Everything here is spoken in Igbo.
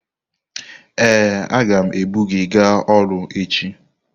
Ee, agam ebu gị gaa ọrụ echi.